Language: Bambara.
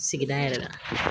Sigida yɛrɛ la